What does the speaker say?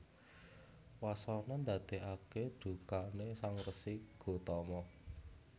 Wasana ndadèkaké dukané Sang Resi Gotama